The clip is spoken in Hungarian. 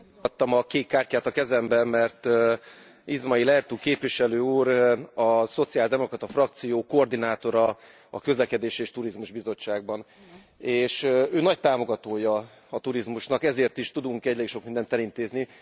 Azért kaptam a kékkártyát a kezembe, mert Ismail Ertug képviselő úr a szociáldemokrata frakció koordinátora a Közlekedés és Turizmus Bizottságban, és ő nagy támogatója a turizmusnak, ezért is tudunk ennyi sok mindent elintézni.